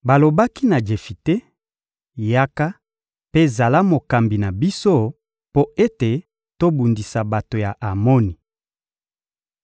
Balobaki na Jefite: — Yaka, mpe zala mokambi na biso mpo ete tobundisa bato ya Amoni.